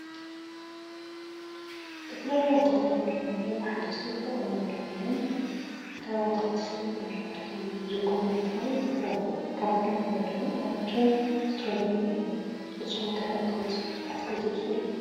ዝተፈላለዩ ኣትክልትን ፍራምረን ብሓደ ዝተቀመጡ ኮይኖም ካብ ኣትክልቲ ሳላጣን ሽጉርት፣ ዚኩኒ እንትከውን ካብ ፍራምረ ድማ ኣራንሽን ኣስትሮቬሪ እዮም። ንስኩም ከ ኣትክልቲ ትፈትው ዶ ?